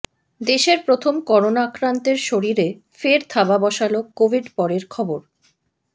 দেশের প্রথম করোনা আক্রান্তের শরীরে ফের থাবা বসাল কোভিড পরের খবর